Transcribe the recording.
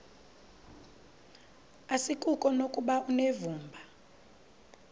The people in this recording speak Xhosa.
asikuko nokuba unevumba